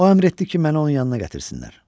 O əmr etdi ki, məni onun yanına gətirsinlər.